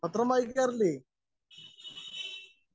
Speaker 1 പത്രം വായിക്കാറില്ലേ?